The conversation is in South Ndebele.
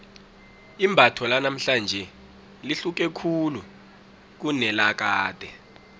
imbatho lanamhlanje lihluke khulu kunelakade